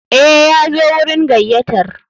Eh, Yazo wurin gayyatar.